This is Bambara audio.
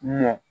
Ɲɛ